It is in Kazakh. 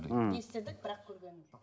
м естідік бірақ көрген жоқпыз